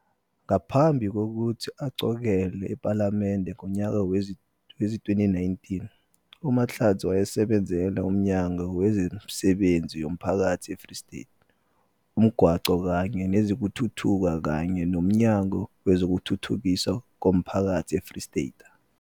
Ngaphambi kokuthi aqokelwe ephalamende ngonyaka wezi-2019, uMahlatsi wayesebenzela uMnyango Wezemisebenzi Yomphakathi eFree State, uMgwaqo kanye Nezokuthutha kanye noMnyango Wezokuthuthukiswa Komphakathi eFreyistata.